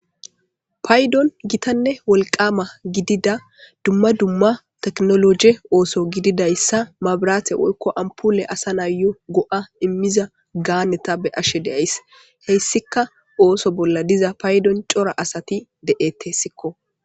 Paydon gitanne wolqama gidida dumma dumma tekinoloje oso gididaysa maburate woykko ampole assa nayo go'a imza ganeza beyashe de'ays , haysika ootho bolla diza asat detes guusa